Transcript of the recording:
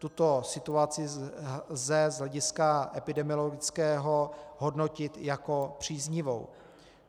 Tuto situaci lze z hlediska epidemiologického hodnotit jako příznivou.